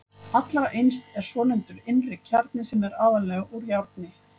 Allra innst er svonefndur innri kjarni sem er aðallega úr járni.